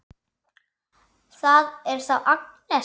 Það er þá Agnes!